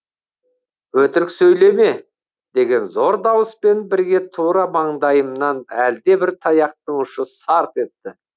өтірік сөйлеме деген зор дауыспен бірге тура маңдайымнан әлдебір таяқтың ұшы сарт етті